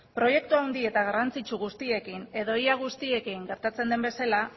proiektu handi eta garrantzitsu guztiekin edo ia guztiekin gertatzen den bezala